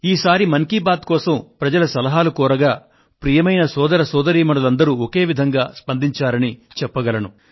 ఈసారి మన్ కీ బాత్ మనసులో మాట కోసం ప్రజల సలహాలు కోరగా ప్రియమైన సోదర సోదరీమణులందరూ ఒకే విధంగా స్పందించారని చెప్పగలను